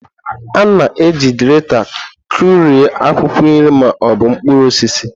A na-eji greta kụrie akwụkwọ nri ma ọ bụ mkpụrụ osisi.